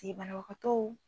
te banabagatɔw